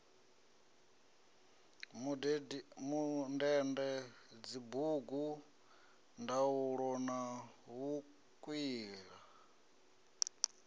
mundende dzibugu ndaula na vhukwila